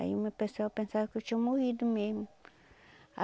Aí o meu pessoal pensava que eu tinha morrido mesmo a